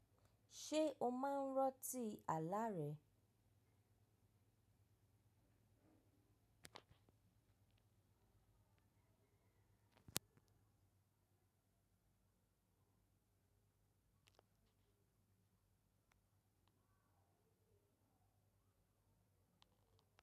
Ṣé o máa ń ran tí àlá rẹ̀?